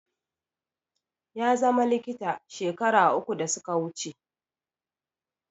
Ya zama likita shekaru uku da suka wuce